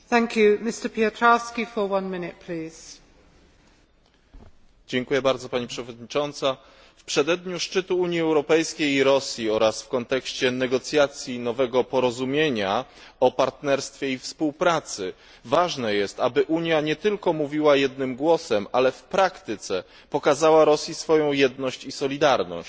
W przededniu szczytu Unii Europejskiej i Rosji oraz w kontekście negocjacji nowego porozumienia o partnerstwie i współpracy ważne jest, aby Unia nie tylko mówiła jednym głosem, ale w praktyce pokazała Rosji swoją jedność i solidarność.